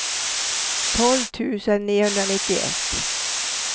tolv tusen niohundranittioett